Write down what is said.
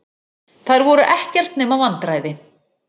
Þær voru ekkert nema vandræði.